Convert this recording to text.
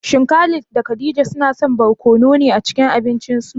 Shin Khalid da Khadija masu son barkono ne a cikin abincinsu?